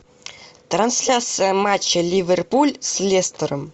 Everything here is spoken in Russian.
трансляция матча ливерпуль с лестером